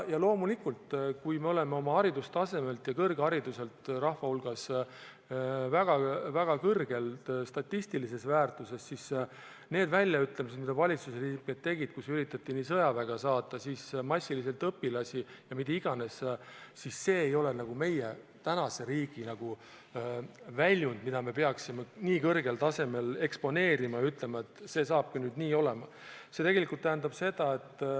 Loomulikult, kui me oleme oma haridustasemelt, kõrghariduse poolest rahva hulgas väga kõrgel, statistilise väärtuse poolest, siis need väljaütlemised, mida valitsusliikmed tegid, kui üritati saata sõjaväge, massiliselt õpilasi ja mis iganes, ei ole meie tänase riigi väljund, mida me peaksime nii kõrgel tasemel eksponeerima ja ütlema, et see saabki nüüd nii olema.